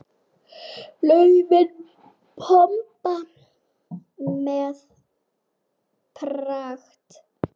Laufin pompa með pragt.